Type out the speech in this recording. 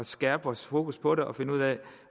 skærpe vores fokus på det og finde ud af